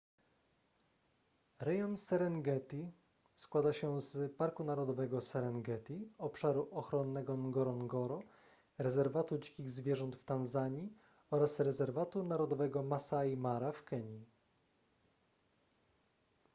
rejon serengeti składa się z parku narodowego serengeti obszaru ochronnego ngorongoro rezerwatu dzikich zwierząt w tanzanii oraz rezerwatu narodowego masai mara w kenii